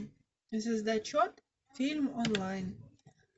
звездочет фильм онлайн